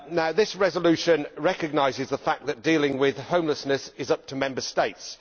This resolution recognises the fact that dealing with homelessness is up to the Member States.